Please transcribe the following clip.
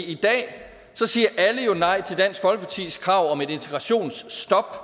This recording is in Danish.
i dag siger alle jo nej til dansk folkepartis krav om et integrationsstop